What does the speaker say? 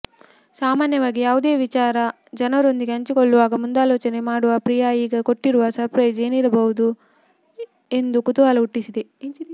ಸಾಮಾನ್ಯವಾಗಿ ಯಾವುದೆ ವಿಚಾರ ಜನರೊಂದಿಗೆ ಹಂಚಿಕೊಳ್ಳುವಾಗ ಮುಂದಾಲೋಚನೆ ಮಾಡುವ ಪ್ರಿಯಾ ಈಗ ಕೊಟ್ಟಿರುವ ಸರ್ಪ್ರೈಸ್ ಏನಿರಬಹುದು ಎಂದು ಕುತೂಹಲ ಹುಟ್ಟಿಸಿದೆ